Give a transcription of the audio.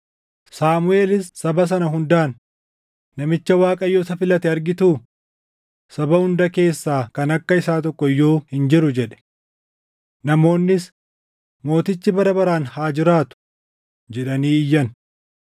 Saamuʼeelis saba sana hundaan, “Namicha Waaqayyo isa filate argituu? Saba hunda keessaa kan akka isaa tokko iyyuu hin jiru” jedhe. Namoonnis, “Mootichi bara baraan haa jiraatu!” jedhanii iyyan.